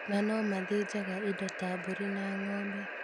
Na noo mathĩnjaga indo ta buri na ng’obe